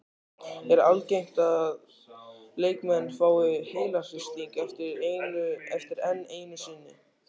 Er algengt að leikmenn fái heilahristing oftar en einu sinni?